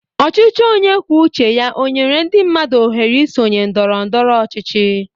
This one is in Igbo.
Ọchịchị onye kwuo uche ya ọ nyere ndị mmadụ ọhere isonye ndọrọ ndọrọ ọchịchị?